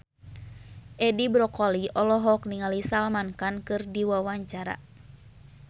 Edi Brokoli olohok ningali Salman Khan keur diwawancara